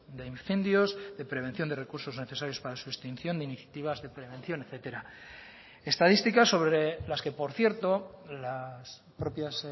de incendios de prevención de recursos necesarios para su extinción de iniciativas de prevención etcétera estadística sobre las que por cierto las propias